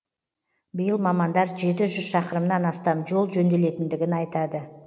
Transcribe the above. биыл мамандар жеті жүз шақырымнан астам жол жөнделетіндігін айтады